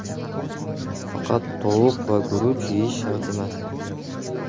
Faqat tovuq va guruch yeyish shart emas.